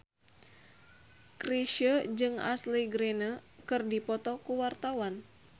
Chrisye jeung Ashley Greene keur dipoto ku wartawan